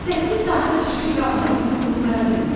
Səkkiz saata çirkli qabları yuyub qurtara bilmir.